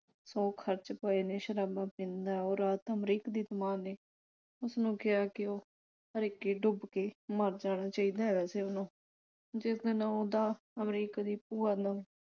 ਸੌ ਖਰਚ ਪਏ ਨੇ ਸ਼ਰਾਬਾ ਪੀਂਦਾ ਉਹ ਰਾਤ ਅਮਰੀਕ ਦੀ ਮਾਂ ਨੇ ਉਸਨੂੰ ਕਿਹਾ ਕਿ ਉਹ ਹਰੀਕੇ ਡੁੱਬ ਕੇ ਮਰ ਜਾਣਾ ਚਾਹੀਦਾ ਐਸੇ ਨੂੰ। ਜਿਸ ਦਿਨ ਉਹਦਾ ਅਮਰੀਕ ਦੀ ਭੂਆ ਨੂੰ